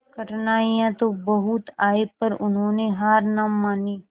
कठिनाइयां तो बहुत आई पर उन्होंने हार ना मानी